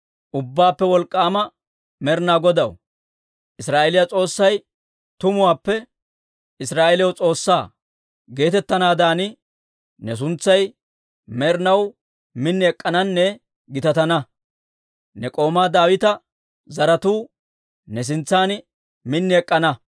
‹Ubbaappe Wolk'k'aama Med'inaa Godaw, Israa'eeliyaa S'oossay tumuwaappe Israa'eeliyaw S'oossaa› geetettanaadan ne suntsay med'inaw min ek'k'ananne gitatana. Ne k'oomaa Daawita zaratuu ne sintsan min ek'k'ana.